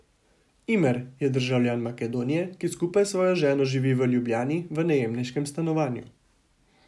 Imer je državljan Makedonije, ki skupaj s svojo ženo živi v Ljubljani v najemniškem stanovanju.